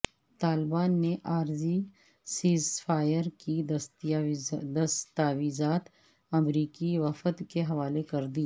طالبان نے عارضی سیزفائر کی دستاویزات امریکی وفد کے حوالے کردی